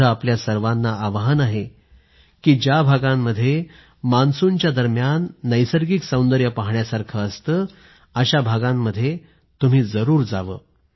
माझं आपल्या सर्वांना आवाहन आहे की ज्या भागांमध्ये मान्सूनच्या दरम्यान नैसर्गिक सौंदर्य पाहण्यासारखं असतं अशा भागांमध्ये तुम्ही जरूर जा